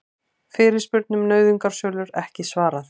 Fyrirspurn um nauðungarsölur ekki svarað